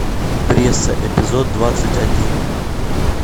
пресса эпизод двадцать один